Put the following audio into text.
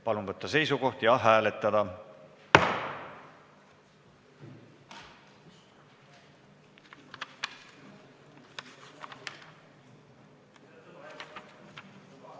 Palun võtta seisukoht ja hääletada!